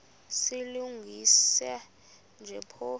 silungisa nje phofu